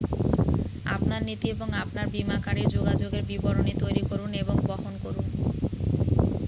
আপনার নীতি এবং আপনার বীমাকারীর যোগাযোগের বিবরণী তৈরি করুন এবং বহন করুন